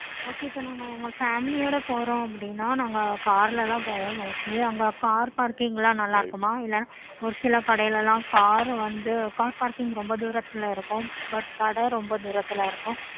okay இப்போ நாங்க family போறோம் அப்பிடின்னா நாங்க car ல தான் போவோம் mostly அங்க